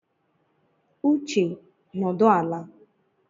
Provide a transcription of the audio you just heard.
Uche, nọdụ ala!